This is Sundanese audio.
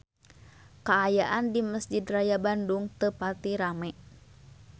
Kaayaan di Mesjid Raya Bandung teu pati rame